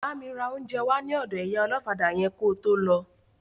Bámi ra oúnjẹ wá ní ọ̀dọ ìyá ọlọ́fadà yẹn kó tó lọ